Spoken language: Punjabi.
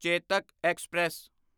ਚੇਤਕ ਐਕਸਪ੍ਰੈਸ